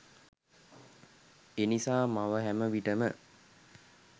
එනිසා මව හැම විටම